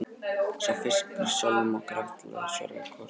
Sá fiskur er sjálfum okkur ætlaður, svaraði Kort.